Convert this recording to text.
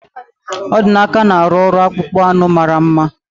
Odinaka na-arụ ọrụ akpụkpọ anụ mara mma